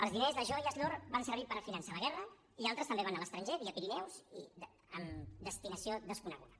els diners les joies l’or van servir per finançar la guerra i altres també van anar a l’estranger via pirineus i amb destinació desconeguda